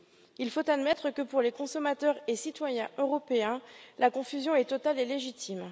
Il faut admettre que, pour les consommateurs et citoyens européens, la confusion est totale et légitime.